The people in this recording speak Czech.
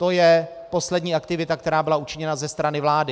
To je poslední aktivita, která byla učiněna ze strany vlády.